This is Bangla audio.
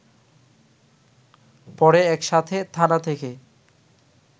পড়ে একসাথে থানা থেকে